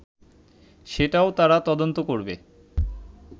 সেটাও তারা তদন্ত করবে